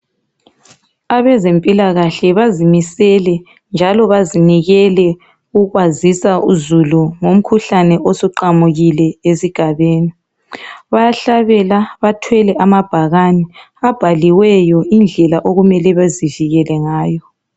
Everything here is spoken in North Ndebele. Abezempilakahle bazimisele njalo bazinikele ukwazisa uzulu ngomkhuhlane osuqamukile esigabeni. Bayahlabela bathwele amabhakani abhaliweyo indlela okumele bezivikele ngayo.